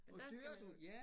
Og der skal man